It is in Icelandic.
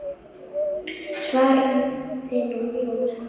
svaraði hún.